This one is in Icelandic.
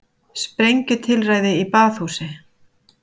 Sprengjutilræði í baðhúsi